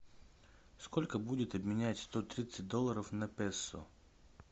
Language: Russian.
сколько будет обменять сто тридцать долларов на песо